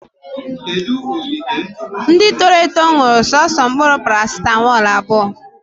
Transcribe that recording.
Ndị toro eto ṅụrụ soso mkpụrụ parasitamọlụ abụọ